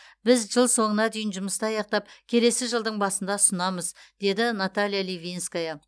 біз жыл соңына дейін жұмысты аяқтап келесі жылдың басында ұсынамыз деді наталья ливинская